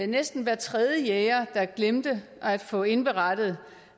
næsten hver tredje jæger der glemte at få indberettet